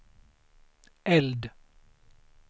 eld